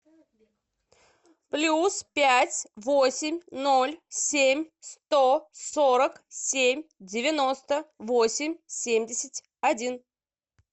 плюс пять восемь ноль семь сто сорок семь девяносто восемь семьдесят один